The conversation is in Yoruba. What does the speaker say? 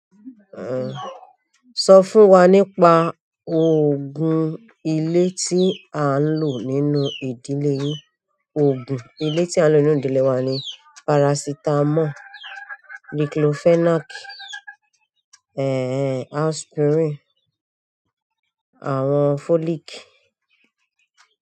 Ehn, sọ fún wa nípa, òògùn ilé tí à ń lò nínú ìdílé yín. Òògùn ilé tí a ń lò nínú ìdílé wa ni parasitamọ́ọ̀, diclofenac, eh eh aspirin, àwọn folic.